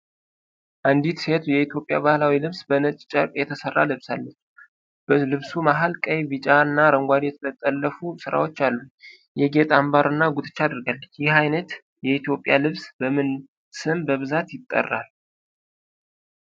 አንዲት ሴት የኢትዮጵያ ባህላዊ ልብስ በነጭ ጨርቅ የተሰራ ለብሳለች። በልብሱ መሃል ቀይ፣ ቢጫ እና አረንጓዴ የተጠለፉ ስራዎች አሉ። የጌጥ አምባር እና ጉትቻ አድርጋለች። ይህ ዓይነት የኢትዮጵያ ልብስ በምን ስም በብዛት ይጠራል?